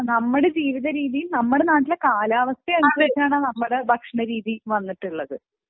നമ്മളെ രീതിയും നമ്മുടെ നാട്ടിലെ കാലാവസ്ഥ അനുസരിച്ചാണ് നമ്മുടെ നാട്ടിലെ ഭക്ഷണ രീതി വന്നിട്ടുള്ളത്